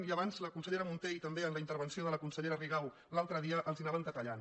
i abans la consellera munté i també en la in·tervenció de la consellera rigau de l’altre dia els ho anaven detallant